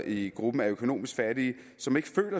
i gruppen af økonomisk fattige som ikke selv